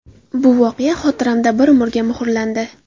Bu voqea xotiramda bir umrga muhrlandi.